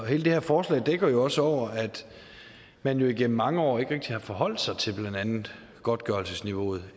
hele det her forslag dækker også over at man jo igennem mange år ikke rigtig har forholdt sig til blandt andet godtgørelsesniveauet